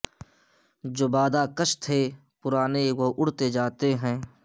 جو بادہ کش تھے پرانے وہ اڑتے جاتے ہیں